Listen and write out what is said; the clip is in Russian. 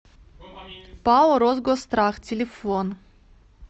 пао росгосстрах телефон